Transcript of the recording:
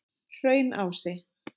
Hraunási